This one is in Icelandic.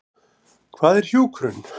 Hvað er hjúkrun?